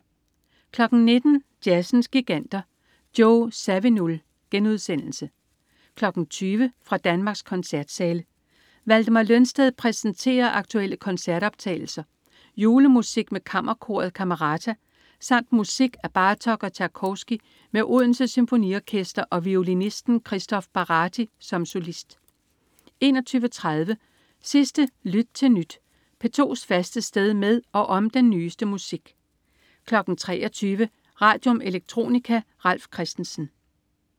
19.00 Jazzens Giganter. Joe Zawinul* 20.00 Fra Danmarks Koncertsale. Valdemar Lønsted præsenterer aktuelle koncertoptagelser. Julemusik med Kammerkoret Camerata samt musik af Bartok og Tjajkovskij med Odense Symfoniorkester og violinisten Kristóf Baráti som solist 21.30 Sidste Lyt til Nyt. P2's faste sted med og om den nyeste musik 23.00 Radium. Electronica. Ralf Christensen